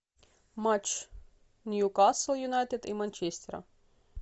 матч ньюкасл юнайтед и манчестера